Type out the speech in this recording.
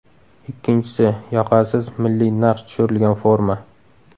Ikkinchisi, yoqasiz, milliy naqsh tushirilgan forma.